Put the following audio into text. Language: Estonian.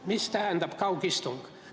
Mida tähendab kaugistung?